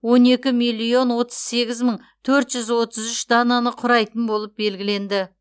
он екі миллион отыз сегіз мың төрт жүз отыз үш дананы құрайтын болып белгіленді